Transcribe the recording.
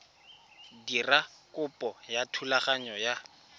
dira kopo ya thulaganyo ya